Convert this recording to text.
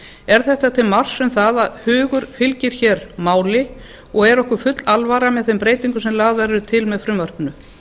er þetta til marks um það að hugur fylgir hér máli og er okkur full alvara með þeim breytingum sem lagðar eru til með frumvarpinu